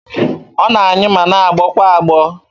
Ọ na-anyụ ma na-agbọ kwa agbọ.